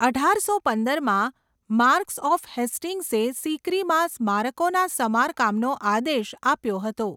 અઢારસો પંદરમાં, marquess of હેસ્ટિંગ્સે સિકરીમાં સ્મારકોના સમારકામનો આદેશ આપ્યો હતો.